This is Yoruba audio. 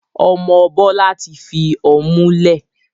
Ọmọ Bọlá tí fi ọmú lẹ̀.